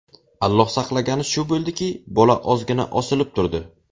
Alloh saqlagani shu bo‘ldiki, bola ozgina osilib turdi.